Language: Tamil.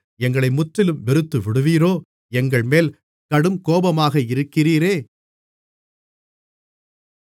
எங்களை முற்றிலும் வெறுத்துவிடுவீரோ எங்கள்மேல் கடுங்கோபமாக இருக்கிறீரே